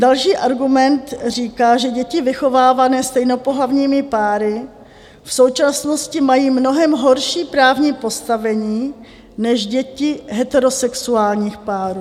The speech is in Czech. Další argument říká, že děti vychovávané stejnopohlavními páry v současnosti mají mnohem horší právní postavení než děti heterosexuálních párů.